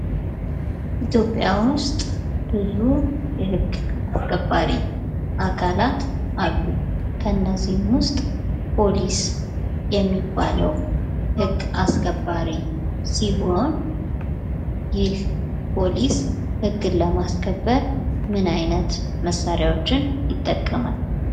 ኢትዮጵያ ውስጥ ብዙ የህግ አስከባሪ አካላት አሉ። ከነዚህም ውስጥ ፖሊስ የሚባለው ህግ አስከባሪ ሲሆን ይህ ፖሊስ ህግን ለማስከበር ምን አይነት መሳሪያዎችን ይጠቀማል?